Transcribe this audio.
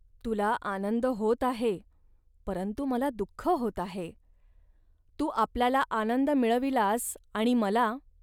तुला आनंद होत आहे, परंतु मला दुःख होत आहे. तू आपल्याला आनंद मिळविलास आणि मला